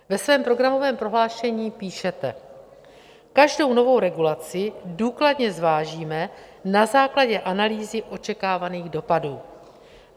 Ve svém programovém prohlášení píšete: Každou novou regulaci důkladně zvážíme na základě analýzy očekávaných dopadů.